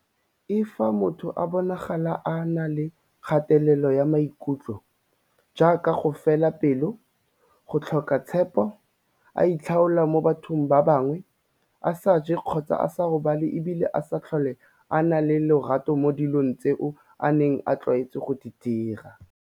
l Fa motho a bonagala a na le kgatelelo ya maikutlo, jaaka go fela pelo, go tlhoka tshepo, a itlhaola mo bathong ba bangwe, a sa je kgotsa a sa robale e bile a sa tlhole a na le lerato mo dilong tseo a neng a tlwaetse go di dira.